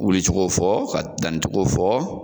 Wulicogo fɔ ka dancogo fɔ